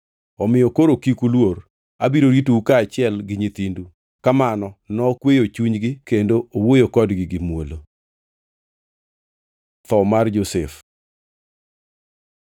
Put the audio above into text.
Omiyo koro kik uluor. Abiro ritou kaachiel gi nyithindu.” Kamano nokweyo chunygi kendo owuoyo kodgi gi muolo. Tho mar Josef